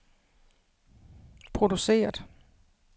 produceret